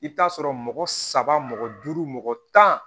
I bɛ t'a sɔrɔ mɔgɔ saba mɔgɔ duuru mɔgɔ tan